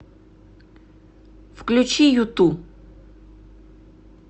включи юту